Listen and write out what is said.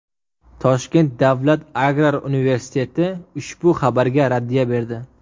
Toshkent davlat agrar universiteti ushbu xabarga raddiya berdi.